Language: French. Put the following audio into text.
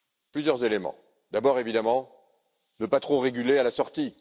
Plusieurs éléments d'abord, évidemment, ne pas trop réguler à la sortie.